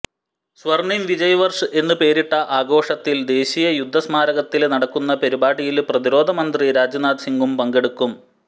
സ്വര്ണിം വിജയ് വര്ഷ് എന്ന് പേരിട്ട ആഘോഷത്തിൽ ദേശീയ യുദ്ധ സ്മാരകത്തില് നടക്കുന്ന പരിപാടിയില് പ്രതിരോധമന്ത്രി രാജ്നാഥ് സിംഗും പങ്കെടുക്കും